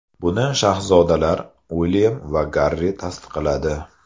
Buni shahzodalar Uilyam va Garri tasdiqladi.